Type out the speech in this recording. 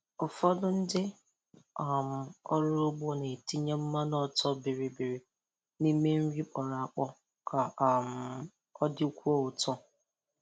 Ụfọdụ ndị um ọrụ ugbo na-etinye mmanụ ọtọ bịrị bịrị n' ime nri kpọrọ akpọ ka um ọ dịkwuo ụtọ.